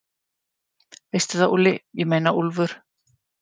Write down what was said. Veistu það, Úlli, ég meina Úlfur.